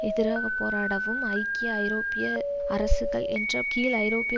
எதிராகப்போராடவும் ஐக்கிய ஐரோப்பிய சோசியலிச அரசுகள் என்ற கீழ் ஐரோப்பிய